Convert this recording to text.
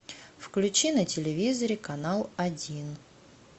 включи на телевизоре канал один